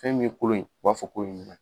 Fɛn min ye kolon ye, o b'a fɔ ko ye ɲuman ye.